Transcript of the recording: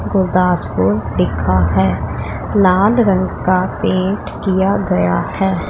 गुरदासपुर लीखा है लाल रंग का पेंट किया गया है।